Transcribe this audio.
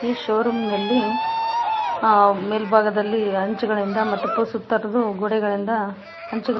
ಈ showroom ನಲ್ಲಿ ಆ ಮೇಲ್ಭಾಗದಲ್ಲಿ ಹಂಚುಗಳಿಂದ ಮತ್ತು ಪೂ ಸುತ್ತರದು ಗೋಡೆಗಳಿಂದ ಹಂಚುಗಳ--